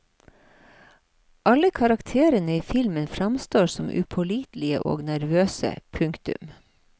Alle karakterene i filmen framstår som upålitelige og nervøse. punktum